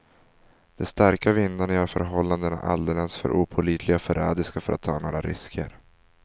De starka vindarna gör förhållandena alldeles för opålitliga och förrädiska för att ta några risker.